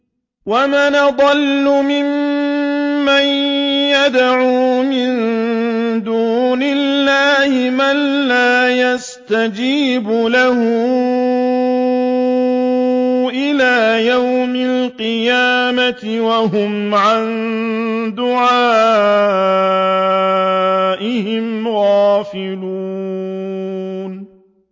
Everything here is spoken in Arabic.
وَمَنْ أَضَلُّ مِمَّن يَدْعُو مِن دُونِ اللَّهِ مَن لَّا يَسْتَجِيبُ لَهُ إِلَىٰ يَوْمِ الْقِيَامَةِ وَهُمْ عَن دُعَائِهِمْ غَافِلُونَ